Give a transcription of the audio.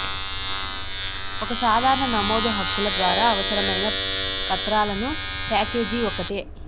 ఒక సాధారణ నమోదు హక్కుల ద్వారా అవసరమైన పత్రాలను ప్యాకేజీ ఒకటే